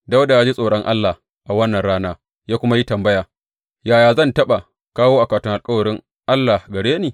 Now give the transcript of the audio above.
Dawuda ya ji tsoron Allah a wannan rana ya kuma yi tambaya, Yaya zan taɓa kawo akwatin alkawarin Allah gare ni?